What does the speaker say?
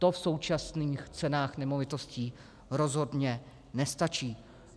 To v současných cenách nemovitostí rozhodně nestačí.